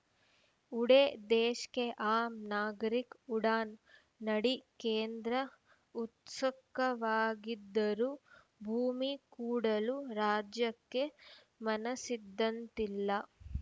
ಉಡೇ ದೇಶ್‌ ಕೆ ಆಮ್‌ ನಾಗರಿಕ್‌ ಉಡಾನ್‌ನಡಿ ಕೇಂದ್ರ ಉತ್ಸುಕವಾಗಿದ್ದರೂ ಭೂಮಿ ಕೂಡಲು ರಾಜ್ಯಕ್ಕೆ ಮನಸ್ಸಿದ್ದಂತಿಲ್ಲ